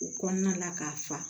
U kɔnɔna la ka fa